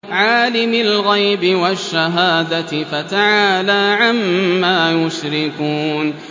عَالِمِ الْغَيْبِ وَالشَّهَادَةِ فَتَعَالَىٰ عَمَّا يُشْرِكُونَ